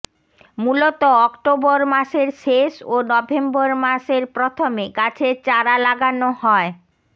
মূলত অক্টোবর মাসের শেষ ও নভেম্বর মাসের প্রথমে গাছের চারা লাগানো হয়